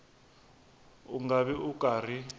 u nga vi u karhi